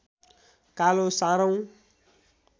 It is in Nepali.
कालो सारौं